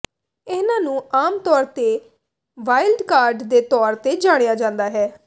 ਇਹਨਾਂ ਨੂੰ ਆਮ ਤੌਰ ਤੇ ਵਾਈਲਡ ਕਾਰਡ ਦੇ ਤੌਰ ਤੇ ਜਾਣਿਆ ਜਾਂਦਾ ਹੈ